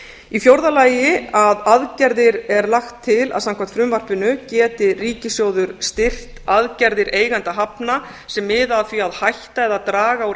í fjórða lagi er lagt til að samkvæmt frumvarpinu geti ríkissjóður styrkt aðgerðir eigenda hafna sem miða að því að hætta eða draga úr